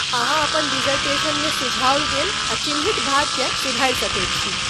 अहाँ अपन डिसर्टेशनमे सुझाओल गेल आ चिह्नित भाग केँ सुधारि सकैत छी।